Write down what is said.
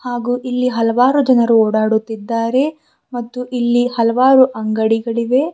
ಹಾಗು ಇಲ್ಲಿ ಹಲವರು ಜನರು ಓಡಾಡುತ್ತಿದ್ದಾರೆ ಮತ್ತು ಇಲ್ಲಿ ಹಲವಾರು ಅಂಗಡಿಗಳಿವೆ.